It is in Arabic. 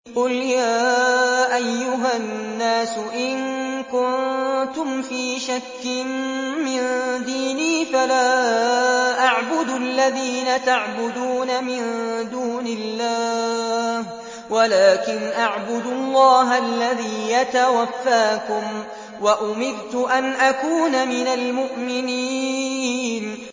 قُلْ يَا أَيُّهَا النَّاسُ إِن كُنتُمْ فِي شَكٍّ مِّن دِينِي فَلَا أَعْبُدُ الَّذِينَ تَعْبُدُونَ مِن دُونِ اللَّهِ وَلَٰكِنْ أَعْبُدُ اللَّهَ الَّذِي يَتَوَفَّاكُمْ ۖ وَأُمِرْتُ أَنْ أَكُونَ مِنَ الْمُؤْمِنِينَ